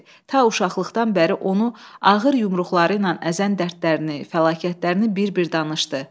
Ta uşaqlıqdan bəri onu ağır yumruqları ilə əzən dərdlərini, fəlakətlərini bir-bir danışdı.